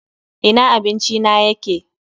Ina abinci na yake!